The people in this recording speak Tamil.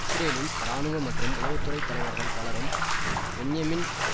இஸ்ரேலின் இராணுவ மற்றும் உளவு துறை தலைவர்கள் பலரும் பென்யமின்